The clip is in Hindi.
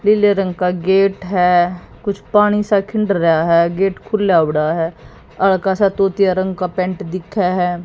नीले रंग का गेट है कुछ पानी सा खिंन्ड रह्या है गेट खुल्ला बड़ा है हल्का सा तूतिया रंग का पेंट दिख्खे है।